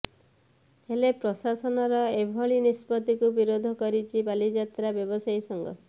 ହେଲେ ପ୍ରଶାସନର ଏଭଳି ନିଷ୍ପତ୍ତିକୁ ବିରୋଧ କରୁଛି ବାଲିଯାତ୍ରା ବ୍ୟବସାୟୀ ସଂଘ